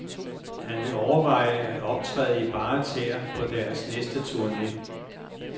Han vil overveje at optræde i bare tæer på deres næste turne.